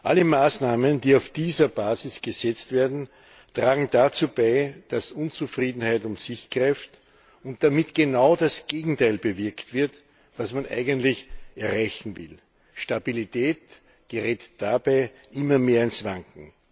Alle Maßnahmen, die auf dieser Basis gesetzt werden, tragen dazu bei, dass Unzufriedenheit um sich greift und damit genau das Gegenteil dessen bewirkt wird, was man eigentlich erreichen will Stabilität gerät dabei immer mehr ins Wanken.